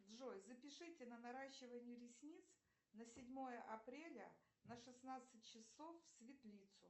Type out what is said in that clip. джой запишите на наращивание ресниц на седьмое апреля на шестнадцать часов в светлицу